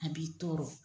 A b'i tɔɔrɔ